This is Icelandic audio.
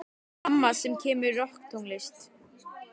Amma semur rokktónlist.